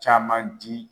Caman di